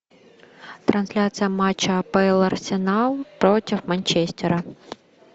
трансляция матча апл арсенал против манчестера